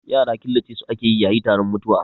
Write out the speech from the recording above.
Yara killace su ake yayi taron mutuwa